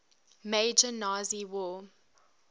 major nazi war